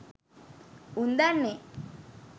උන් දන්නේ